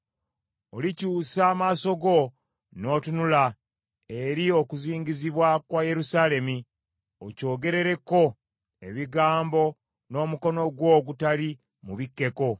Olikyusa amaaso go n’otunula eri okuzingizibwa kwa Yerusaalemi, okyogerereko ebigambo n’omukono gwo ogutali mubikkeko,